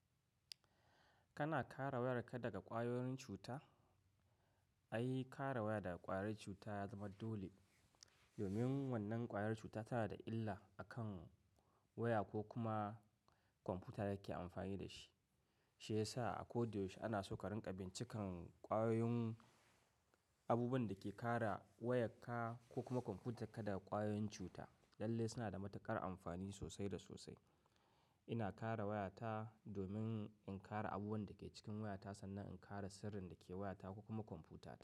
Kana kare wayarka daga ƙwayoyin cuta? Ai, kare waya daga ƙwayar cuta ya zama dole, domin wannan ƙwayar cuta tana da illa akan waya ko kuma kwamfuta da yake amfani da shi. Shiyasa a ko da yaushe ana so ka rinƙa bincika ƙwayoyin abubuwan da ke kare wayarka ko kuma kwamfutarka daga ƙwayoyin cuta. Lalle suna da matuƙar amfani sosai da sosai. Ina kare wayata domin in kare abubuwan da ke cikin wayata sannan in kare sirrin da ke wayata ko kuma kwamfuta.